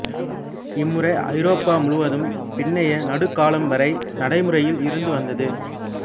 இம்முறை ஐரோப்பா முழுவதும் பின்னைய நடுக்காலம் வரை நடைமுறையில் இருந்து வந்தது